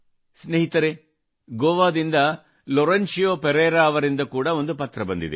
ಸ್ನೇಹಿತರೇ ಗೋವಾದಿಂದ ಲಾರೆನ್ಶಿಯೋ ಪರೇರಾ ಅವರಿಂದ ಕೂಡಾ ಒಂದು ಪತ್ರ ಬಂದಿದೆ